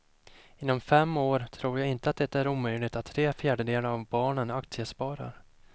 Inom fem år tror jag inte det är omöjligt att tre fjärdedelar av barnen aktiesparar.